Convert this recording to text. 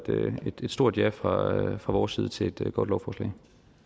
stort ja fra fra vores side til et godt lovforslag